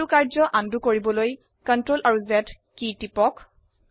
এইটো কাৰ্য আনডো কৰিবলৈ Ctrl Z কি দুটি টিপক